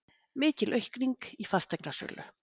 Mikil aukning í fasteignasölu